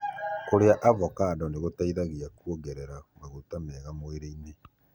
Kũrĩa avocado nĩgũteithagia kuongerera maguta mega mwĩrĩini.